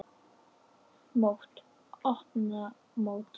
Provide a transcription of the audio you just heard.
Mót: Opna mótið